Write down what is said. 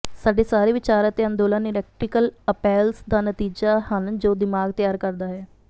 ਸਾਡੇ ਸਾਰੇ ਵਿਚਾਰ ਅਤੇ ਅੰਦੋਲਨ ਇਲੈਕਟ੍ਰੀਅਲ ਅਪੈਲਸ ਦਾ ਨਤੀਜਾ ਹਨ ਜੋ ਦਿਮਾਗ ਤਿਆਰ ਕਰਦਾ ਹੈ